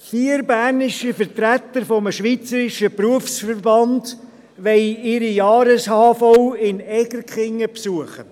Vier bernische Vertreter eines schweizerischen Berufsverbands wollen ihre Jahreshauptversammlung in Egerkingen besuchen.